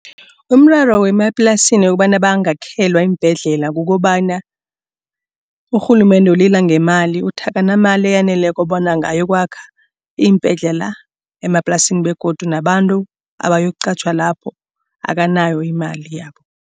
Umraro wemaplasini wokobana bangakhelwa iimbhedlela. Kukobana urhulumende ulila ngemali uthi, akanamali eyaneleko bona angayokwakha iimbhedlela emaplasini begodu nabantu abayokuqatjhwa lapho akanayo imali yabo.